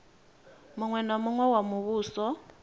muṅwe na muṅwe wa muvhuso